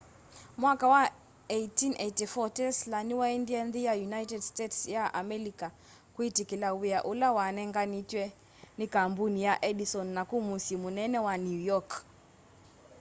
mwaka wa 1884 tesla nĩwaendie nthĩ ya united states ya amelika kwĩtĩkĩla wĩa ũla wanenganĩtwe nĩ kambunĩ ya edison naku mũsyĩ mũnene wa new york